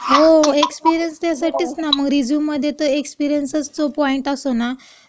हो, एक्सपिरीयन्स त्यासाठीच ना, मग रिझ्यूममध्ये तर एक्सपिरीअन्सचा जो पॉइंट असतो ना,